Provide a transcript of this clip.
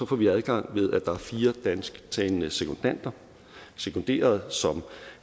får vi adgang ved at der er fire dansktalende sekundanter sekunderede